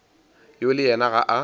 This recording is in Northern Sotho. yo le yena ga a